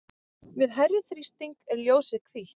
við hærri þrýsting er ljósið hvítt